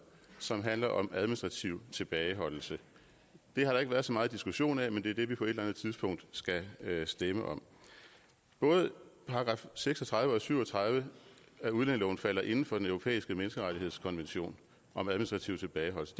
som handler om administrativ tilbageholdelse det har der ikke været så meget diskussion af men det er det vi på et eller andet tidspunkt skal stemme om både § seks og tredive og § syv og tredive af udlændingeloven falder inden for den europæiske menneskerettighedskonvention om administrativ tilbageholdelse